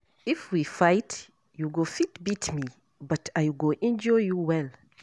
If we fight, you go fit beat me but I go injure you well.